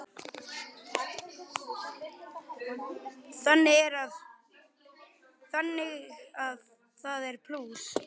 Þannig að það er plús.